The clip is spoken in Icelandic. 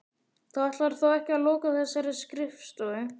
Þú ætlar þó ekki að loka þessari skrifstofu?